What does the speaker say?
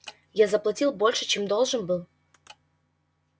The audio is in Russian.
я заплатил больше чем был должен